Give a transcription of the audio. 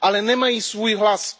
Ale nemají svůj hlas.